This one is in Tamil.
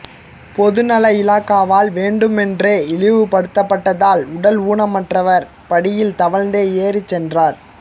பொதுநல இலாகாவால் வேண்டுமென்றே இழிவுபடுத்தப்பட்டதால் உடல் ஊனமுற்றவர் படியில் தவழ்ந்தே ஏறிச் சென்றார்